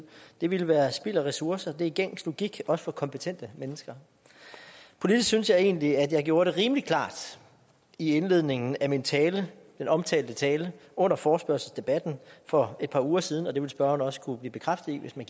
det ville være spild af ressourcer det er gængs logik også for kompetente mennesker politisk synes jeg egentlig at jeg gjorde det rimelig klart i indledningen af min tale den omtalte tale under forespørgselsdebatten for et par uger siden og det vil spørgeren også kunne blive bekræftet i hvis man